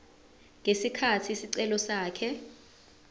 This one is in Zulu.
ngesikhathi isicelo sakhe